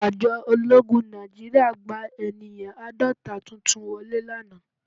Àjọ ológun Nàìjíríà gba ènìyàn àádọ́ta tuntun wọlé lánàá